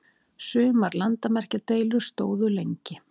Sumar landamerkjadeilur stóðu lengi.